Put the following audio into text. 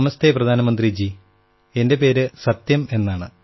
നമസ്തേ പ്രധാനമന്ത്രിജീ എന്റെ പേര് സത്യം എന്നാണ്